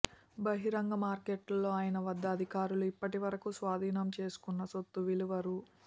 బహిరంగ మార్కెట్లో ఆయన వద్ద అధికారులు ఇప్పటివరకూ స్వాధీనం చేసుకున్న సొత్తు విలువ రూ